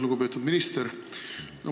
Lugupeetud minister!